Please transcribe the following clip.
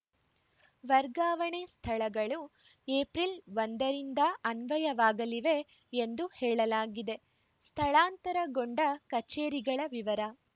ವರ್ಗಾವಣೆ ಸ್ಥಳಗಳು ಏಪ್ರಿಲ್‌ ಒಂದ ರಿಂದ ಅನ್ವಯವಾಗಲಿವೆ ಎಂದು ಹೇಳಲಾಗಿದೆ ಸ್ಥಳಾಂತರಗೊಂಡ ಕಚೇರಿಗಳ ವಿವರ